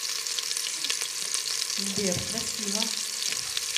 сбер красиво